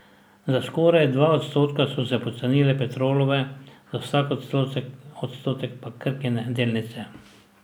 Za skoraj dva odstotka so se pocenile Petrolove, za slab odstotek pa Krkine delnice.